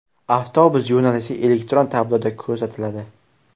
Avtobus yo‘nalishi elektron tabloda ko‘rsatiladi.